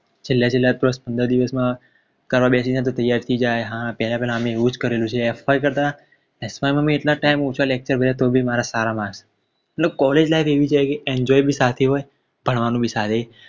છેલ્લા છેલ્લા દસપંદર દિવસમાં કરવા બેસી ને તો ત્યાર થઈ જાય હા તે પેહલા અમે એવું જ કરેલું છે fy કરતા sy માં અમેં એટલા જ time ઓછા Lecture ભારે તો બી મારા સારા Marks ભણવાનું બી સારું